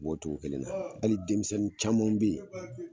U bɔ togo kelen na ali denmisɛnnin camanw be ye